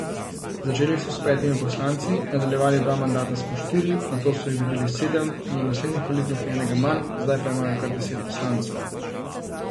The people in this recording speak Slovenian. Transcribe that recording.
Začeli so s petimi poslanci, nadaljevali dva mandata s po štirimi, nato so jih dobili sedem, na naslednjih volitvah enega manj, zdaj pa imajo kar deset poslancev.